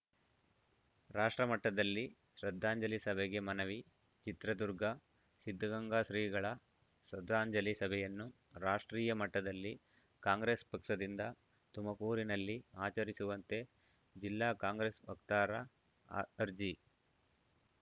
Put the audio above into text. ರಾಷ್ಟ್ರಮಟ್ಟದಲ್ಲಿ ಶ್ರದ್ಧಾಂಜಲಿ ಸಭೆಗೆ ಮನವಿ ಚಿತ್ರದುರ್ಗ ಸಿದ್ಧಗಂಗಾ ಶ್ರೀಗಳ ಶ್ರದ್ಧಾಂಜಲಿ ಸಭೆಯನ್ನು ರಾಷ್ಟ್ರೀಯ ಮಟ್ಟದಲ್ಲಿ ಕಾಂಗ್ರೇಸ್‌ ಪಕ್ಷದಿಂದ ತುಮಕೂರಿನಲ್ಲಿ ಆಚರಿಸುವಂತೆ ಜಿಲ್ಲಾ ಕಾಂಗ್ರೆಸ್‌ ವಕ್ತಾರ ಅರ್ಜಿ